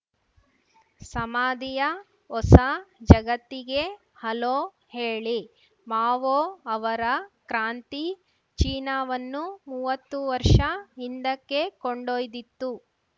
ಸಮಾಧಿಯ ಹೊಸ ಜಗತ್ತಿಗೆ ಹಲೋ ಹೇಳಿ ಮಾವೋ ಅವರ ಕ್ರಾಂತಿ ಚೀನಾವನ್ನು ಮೂವತ್ತು ವರ್ಷ ಹಿಂದಕ್ಕೆ ಕೊಂಡೊಯ್ದಿತ್ತು